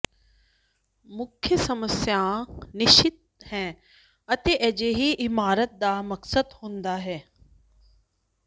ਮੁੱਖ ਸਮੱਸਿਆ ਨਿਸ਼ਚਿਤ ਹੈ ਅਤੇ ਅਜਿਹੀ ਇਮਾਰਤ ਦਾ ਮਕਸਦ ਹੁੰਦਾ ਹੈ